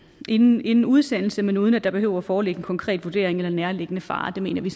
inden inden udsendelse men uden at der behøver at foreligge en konkret vurdering eller nærliggende fare det mener vi